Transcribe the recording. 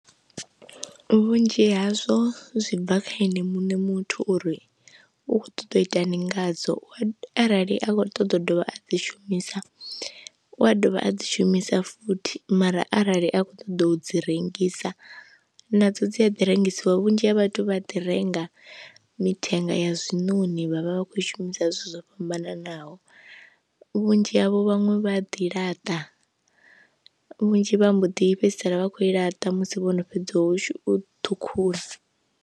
Vhunzhi hazwo zwi bva kha ene mune muthu uri u kho ṱoḓa u itani nga dzo arali a kho ṱoḓa u dovha a dzi shumisa u a dovha a dzi shumisa futhi mara arali a khou ṱoḓa u dzi rengisa nadzo dzi a ḓi rengisiwa. Vhunzhi ha vhathu vha ḓi renga mithenga ya zwinoni vhavha vha khou i shumisa zwithu zwo fhambananaho, vhunzhi havho vhaṅwe vha ḓi laṱa vhunzhi vha mbo ḓi fhedzisela vha khou i laṱa musi vhono fhedza u ṱhukhula.